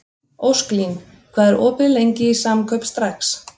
Ósklín, hvað er opið lengi í Samkaup Strax?